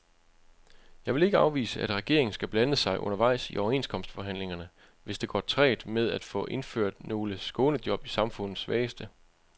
Jeg vil ikke afvise, at regeringen skal blande sig undervejs i overenskomstforhandlingerne, hvis det går trægt med at få indført nogle skånejob til samfundets svageste.